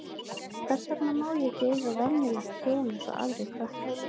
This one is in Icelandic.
Hvers vegna má ég ekki eiga venjulegt hjól eins og aðrir krakkar?